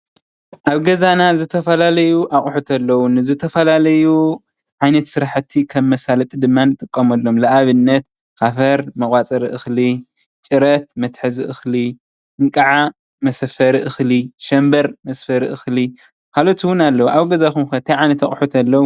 ኣብ ገዛና ዝተፈላለዩ ኣቁሑት ኣለው፤ ዝተፈላለዩ ዓይነት ስራሕቲ ንመሳለጢ ንጥቀመሎም። ንኣብነት ካፈር መቆፀሪ እክሊ ፣ጭረት መትሐዚ እክሊ ፣እንቃዓ መሰፈሪ እክሊ ፣ሸንበር መስፈሪ እክሊ ካልኦት እውን ኣለው። ኣብ ገዛኩም ከ እንታይ ዓይነት ኣቁሑት ኣለው?